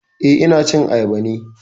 Eh, ina cin ayaba ne